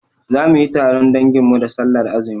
Zamuyi taron dangin mu da sallar azumi